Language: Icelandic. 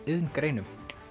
iðngreinum